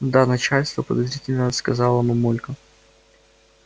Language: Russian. ну да начальство подозрительно сказала мамулька